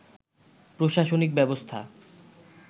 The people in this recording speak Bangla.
প্রশাসনিক ব্যবস্থা